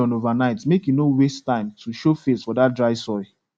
soak that melon overnight make e no waste time to show face for that dry soil